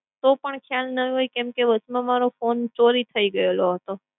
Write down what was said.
તો પણ ખયાલ ન હોય કેમ કે વચમાં મારો phone ચોરી થઈ ગયેલો હતો.